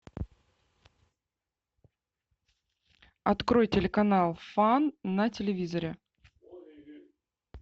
открой телеканал фан на телевизоре